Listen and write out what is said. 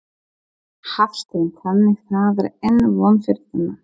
Hafsteinn: Þannig það er enn von fyrir þennan?